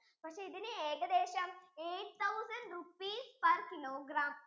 പക്ഷെ ഇതിനു ഏകദേശം eigth thousand rupees per killogram